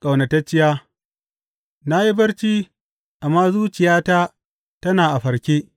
Ƙaunatacciya Na yi barci amma zuciyata tana a farke.